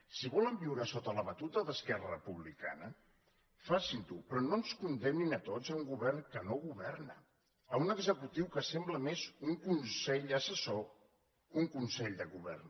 si volen viure sota la batuta d’esquerra republicana facin ho però no ens condemnin a tots a un govern que no governa a un executiu que sembla més un consell assessor que un consell de govern